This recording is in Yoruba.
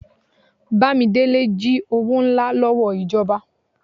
Bámidélé ji owó ńlá lòwó ijọba